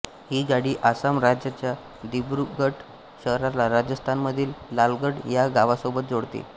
ही गाडी आसाम राज्याच्या दिब्रुगढ शहराला राजस्थानमधील लालगढ ह्या गावासोबत जोडते